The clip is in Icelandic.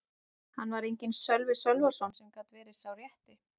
Þar var enginn Sölvi Sölvason sem gat verið sá rétti.